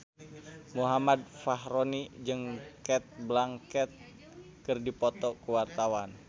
Muhammad Fachroni jeung Cate Blanchett keur dipoto ku wartawan